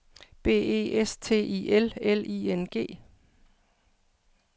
B E S T I L L I N G